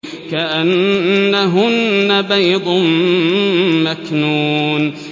كَأَنَّهُنَّ بَيْضٌ مَّكْنُونٌ